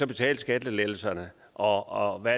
betale skattelettelserne og hvad